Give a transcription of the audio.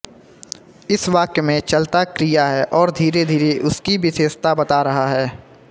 इस वाक्य में चलता क्रिया है और धीरेधीरे उसकी विशेषता बता रहा है